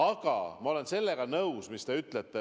Aga ma olen nõus sellega, mis te ütlesite.